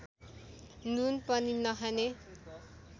नुन पनि नखाने